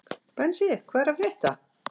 Bensi, hvað er að frétta?